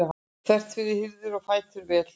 þvert fyrir og hirða fætur vel.